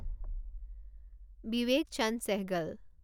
বিৱেক Chand Sehgal